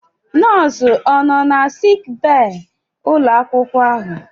Nọọsụ ọ nọ na sik bee ụlọ akwụkwọ ahụ?